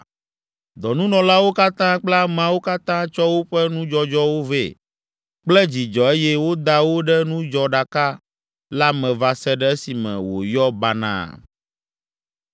Dɔnunɔlawo katã kple ameawo katã tsɔ woƒe nudzɔdzɔwo vɛ kple dzidzɔ eye woda wo ɖe nudzɔɖaka la me va se ɖe esime wòyɔ banaa.